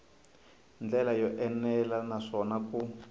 ndlela yo enela naswona ku